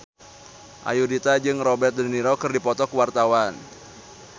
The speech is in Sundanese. Ayudhita jeung Robert de Niro keur dipoto ku wartawan